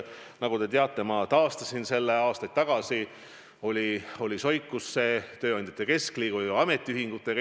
Nagu te teate, ma taastasin selle aastaid tagasi, vahepeal oli debatt tööandjate keskliidu ja ametiühingutega soikus.